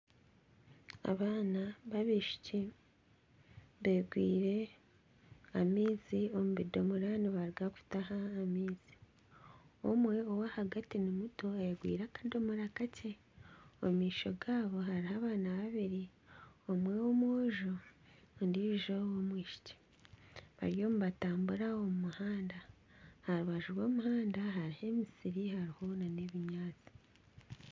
Abaana b'abaishiki beegwiire amaizi omu bidomoora nibaruga kutaha amaizi. Omwe ow'ahagati nimuto ayegwiire akadomora kakye. Omu maisho gaabo hariho abaana babiri, omwe w'omwojo ondiijo w'omwishiki bariyo nibatambura omu muhanda. Aha rubaju rw'omuhanda hariho emisiri hariho nana ebinyaatsi.